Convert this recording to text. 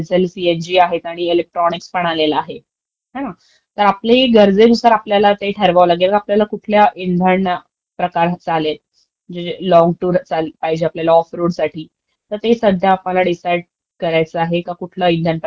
कुठला प्रकार घ्यायचा म्हणून ते. आणि आम्हाला अं...जी घ्यायचीय ना ती आता एक्स्यूव्हीचं घ्यायचीयं आहे, कारण ट्रेनिंगमध्ये पण मला नेहमी थोडं दूर जावं लागंत. ऑफरोड त्यामुळे आमच्यासाठी जी